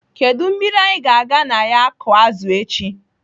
Kedụ mmiri anyị ga-aga na ya akụ azụ echi?